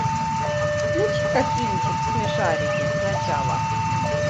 включи ка кинчик смешарики начало